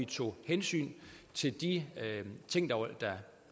tog hensyn til de ting